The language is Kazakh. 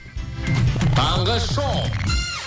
таңғы шоу